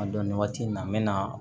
A dɔn nin waati nin na n bɛ na